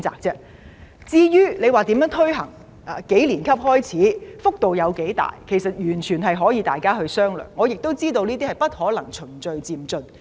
至於如何推行，由幾年級開始，幅度多大，完全可以由各方面人士商量，我亦知道有關安排必定要循序漸進推行。